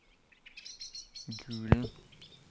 Gulen